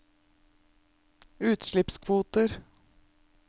utslippskvoter